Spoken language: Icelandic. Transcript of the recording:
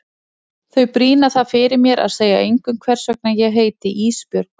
Þau brýna það fyrir mér að segja engum hvers vegna ég heiti Ísbjörg.